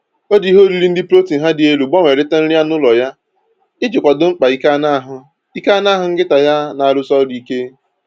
O ji ihe oriri ndị protin ha dị elu gbanwerita nri anụ ụlọ ya iji kwado mkpa ike anụahụ ike anụahụ nkịta ya na-arụsi ọrụ ike